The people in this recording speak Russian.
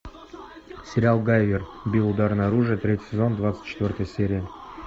сериал гайвер био ударное оружие третий сезон двадцать четвертая серия